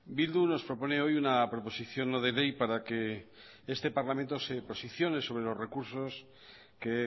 bildu nos propone hoy una proposición no de ley para que este parlamento se posicione sobre los recursos que